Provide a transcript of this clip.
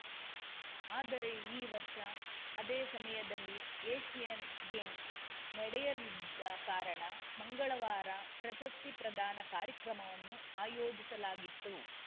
ಆದರೆ ಈ ವರ್ಷ ಅದೇ ಸಮಯದಲ್ಲಿ ಏಷ್ಯನ್‌ ಗೇಮ್ಸ್‌ ನಡೆಯಲಿದ್ದ ಕಾರಣ ಮಂಗಳವಾರ ಪ್ರಶಸ್ತಿ ಪ್ರದಾನ ಕಾರ್ಯಕ್ರಮವನ್ನು ಆಯೋಜಿಸಲಾಗಿತ್ತು